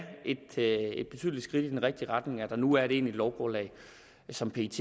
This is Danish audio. er et betydeligt skridt i den rigtige retning at der nu er et egentligt lovgrundlag som pet